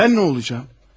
Mən nə olacağam?